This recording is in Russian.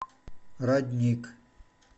родник